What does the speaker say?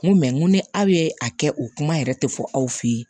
N ko ni aw ye a kɛ o kuma yɛrɛ tɛ fɔ aw fe yen